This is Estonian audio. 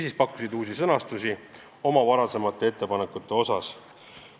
Pakuti ka oma varasemate ettepanekute uusi sõnastusi.